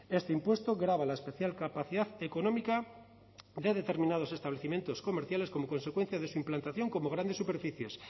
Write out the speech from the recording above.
este impuesto grava la especial capacidad económica de determinados establecimientos comerciales como consecuencia de su implantación como grandes superficies